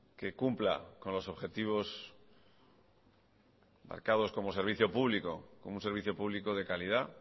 que cumpla con los objetivos marcados como servicio público como un servicio público de calidad